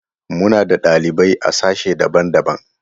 Muna da ɗalibai a sashe daban-daban.